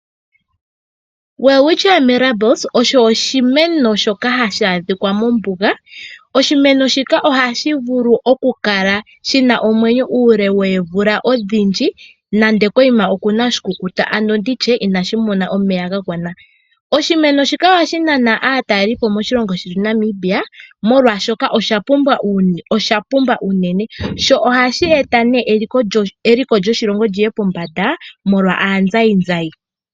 Welwitchia Mirabilis osho oshimeno shoka hashi adhika mombuga, oshimeno shika ohashi vulu okukala shi na omwenyo uule woomvula odhindji, nande konima oku na oshikukuta, ano ndi tye inashi mona omeya ga gwana. Oshimeno shika ohashi nana aatalelipo moshilongo shetu Namibia, molwashoka osha pumba unene sho ohashi eta eliko lyoshilongo li ye pombanda molwa aazayizayi.